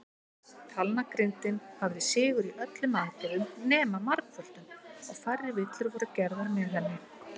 Talnagrindin hafði sigur í öllum aðgerðum nema margföldun, og færri villur voru gerðar með henni.